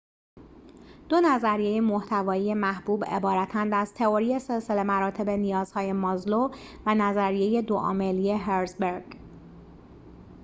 دو نظریه محتوای محبوب عبارتند از تئوری سلسله مراتب نیازهای مازلو و نظریه دو عاملی هرزبرگ